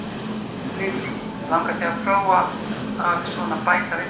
Lillý: Langaði þig að prófa að svona bæta við þig?